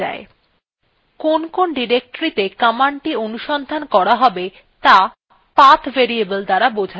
কোন কোন ডিরেক্টরীত়ে কমান্ডটি অনুসন্ধান করা হবে ত়া path variable দ্বারা বোঝা যায় আমরা the একটু পরেই দেখব